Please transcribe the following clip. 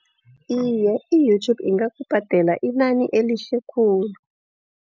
Iye i-YouTube ingakubhadela inani elihle khuli.